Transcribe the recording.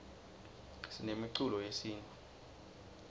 sinemiculo yesintfu